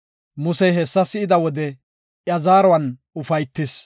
Musey hessa si7ida wode iya zaaruwan ufaytis.